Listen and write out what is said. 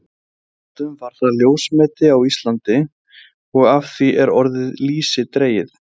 Fyrr á öldum var það ljósmeti á Íslandi og af því er orðið lýsi dregið.